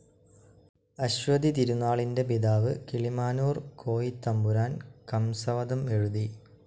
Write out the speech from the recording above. അശ്വതിതിരുനാളിന്റെ പിതാവ്‌ കിളിമാനൂർ കോയിത്തമ്പുരാൻ കംസവധം എഴുതി.